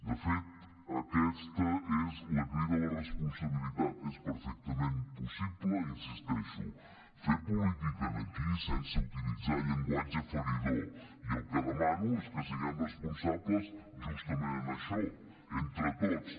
de fet aquesta és la crida a la responsabilitat és perfectament possible hi insisteixo fer política aquí sense utilitzar llenguatge feridor i el que demano és que siguem responsables justament en això entre tots